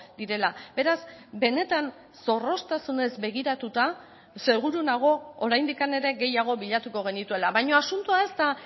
direla beraz benetan zorroztasunez begiratuta seguru nago oraindik ere gehiago bilatuko genituela baina asuntoa ez da